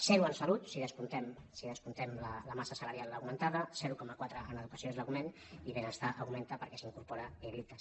zero en salut si descomptem la massa salarial augmentada zero coma quatre en educació és l’augment i benestar augmenta perquè s’hi incorpora l’icass